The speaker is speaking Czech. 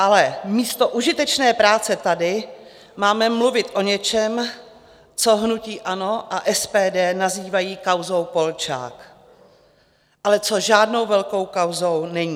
Ale místo užitečné práce tady máme mluvit o něčem, co hnutí ANO a SPD nazývají kauzou Polčák, ale co žádnou velkou kauzou není.